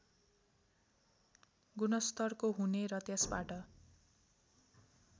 गुणस्तरको हुने र त्यसबाट